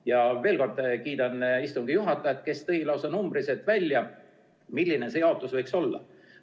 Ja veel kord kiidan istungi juhatajat, kes tõi lausa numbriliselt välja, milline seadus võiks olla.